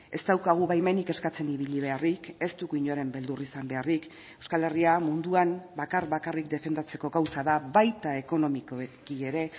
ez daukagu baimenik eskatzen ibili beharrik ez dugu inoren beldur izan beharrik euskal herria munduan bakar bakarrik defendatzeko gauza da baita ekonomikoki ere